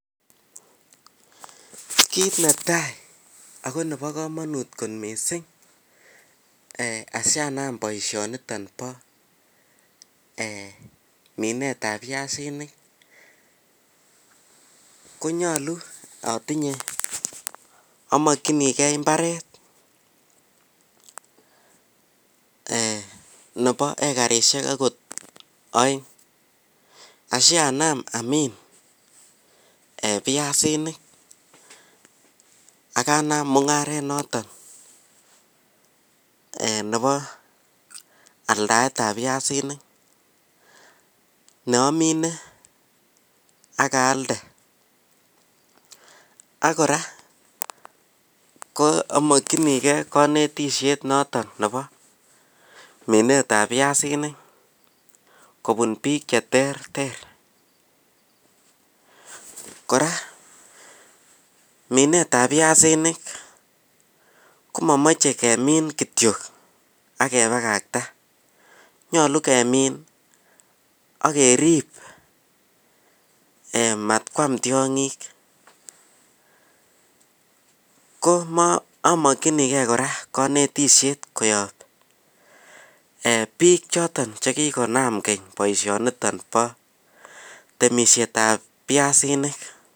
Kit netai ako Nebo kamanut kit missing asianam boisyoni bo minet ab biasinik konyolu amakyanikei mbaret Nebo agot ekarisiek aeng akanam aldaet notok Bo pyasik ne amine ak aalde ak kanetishet notok toreti eng minet ab pysanik ako nyolu kemin akerib matkwam tyongik ak amakyini bik chekikonam temisiet ab pyasinik